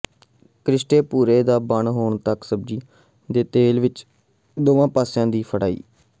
ਕ੍ਰੀਸਟੇ ਭੂਰੇ ਤ ਬਣੇ ਹੋਣ ਤਕ ਸਬਜ਼ੀਆਂ ਦੇ ਤੇਲ ਵਿਚ ਦੋਵਾਂ ਪਾਸਿਆਂ ਦਾ ਫਰਾਈ